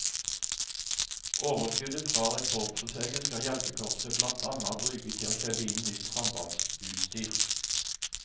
Overskuddet fra rekordforsøket skal hjelpekorpset blant annet bruke til å kjøpe inn nytt sambandsutstyr.